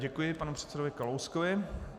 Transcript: Děkuji panu předsedovi Kalouskovi.